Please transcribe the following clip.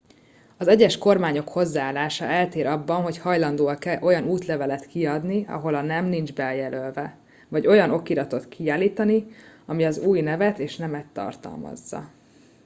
az egyes kormányok hozzáállása eltér abban hogy hajlandóak-e olyan útlevelet kiadni ahol a nem nincs bejelölve x vagy olyan okiratot kiállítani ami az új nevet és nemet tartalmazza